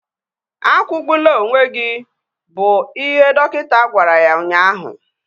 Akwụgbula onwe gị! Bụ ihe dọkịta gwara ya ụnyaahụ